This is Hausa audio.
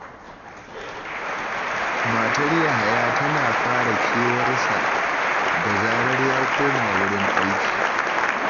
Matar Yahaya tana fara kewar sa, da zarar ya koma wurin aiki